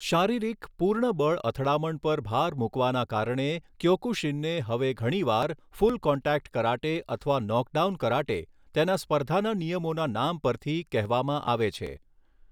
શારીરિક, પૂર્ણ બળ અથડામણ પર ભાર મૂકવાના કારણે ક્યોકુશિનને હવે ઘણીવાર ફૂલ કોન્ટેક્ટ કરાટે અથવા નોકડાઉન કરાટે, તેના સ્પર્ધાના નિયમોના નામ પરથી, કહેવામાં આવે છે.